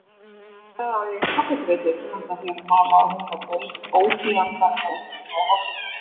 Auðvitað á ég kaffidreitil handa þér malaði hún og beið ótíðindanna með öndina í hálsinum.